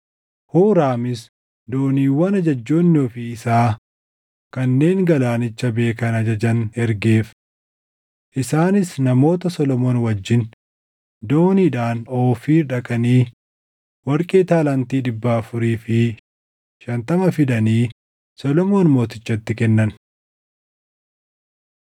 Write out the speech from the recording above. Huuraamis dooniiwwan ajajjoonni ofii isaa kanneen galaanicha beekan ajajan ergeef. Isaanis namoota Solomoon wajjin dooniidhaan Oofiir dhaqanii warqee taalaantii dhibba afurii fi shantama fidanii Solomoon Mootichatti kennan.